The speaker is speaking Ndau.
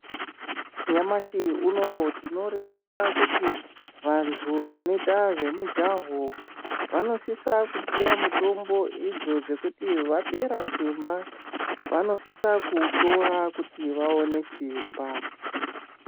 Nyamashi unowu tino ringira kuti vantu vanoita zve mujaha vanosisa kupuwa mutombo idzo dzekuti vapera simba vanosisa ku utora kuti vaone simba.